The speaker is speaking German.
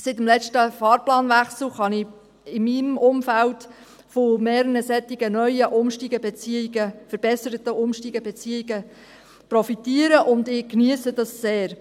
Seit dem letzten Fahrplanwechsel kann ich in meinem Umfeld von mehreren solchen verbesserten Umsteigebeziehungen profitieren, und ich geniesse das sehr.